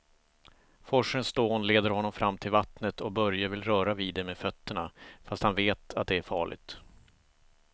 Forsens dån leder honom fram till vattnet och Börje vill röra vid det med fötterna, fast han vet att det är farligt.